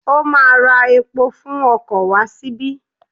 Ó ma ra epo fún okò wá síbí.